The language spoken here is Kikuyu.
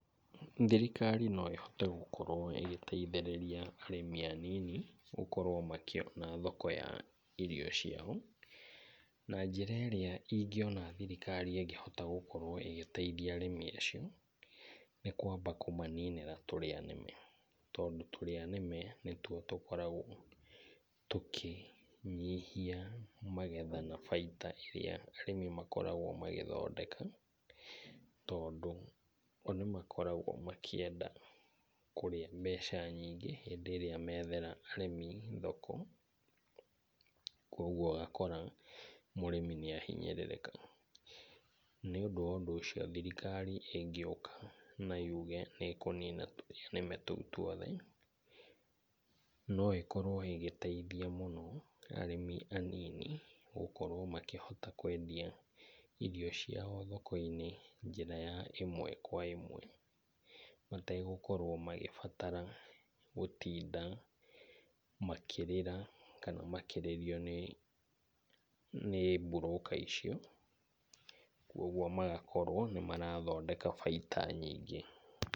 Thirikari no ĩhote gũkorwo ĩgĩteithĩrĩria arĩmi anini gũkorwo makĩona thoko ya irio ciao. Na njĩra ĩrĩa ingĩona thirikari ĩngĩhota gũkorwo ĩgĩteithia arĩmi acio nĩ kwamba kũmaninĩra tũrĩa nĩme tondũ tũrĩa nĩme nĩtuo tũkoragwo tũkĩnyihia magetha na baita ĩrĩa arĩmi makoragwo magĩthondeka. Tondũ o nĩmakoragwo makĩenda kũrĩa mbeca nyingĩ hĩndĩ ĩrĩa methera arĩmi thoko. Kwoguo ũgakora mũrĩmi nĩ ahinyĩrĩrĩka. Nĩ ũndũ wa ũndũ ũcio thirikari ĩngĩũka na yuge nĩ ĩkũnina tũrĩa nĩme tũu tuothe, no ĩkorwo ĩgĩteithia mũno arĩmi gũkorwo makĩhota kwendia irĩo ciao thoko-inĩ njĩra ya ĩmwe kwa ĩmwe. Mategũtinda magĩbatara gũtinda makĩrĩra kana makĩrĩrio nĩ broker icio. Kwoguo magakorwo nĩ marathondeka baita nyingĩ.